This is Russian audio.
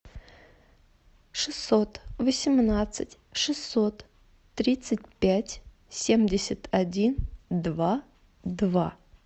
шестьсот восемнадцать шестьсот тридцать пять семьдесят один два два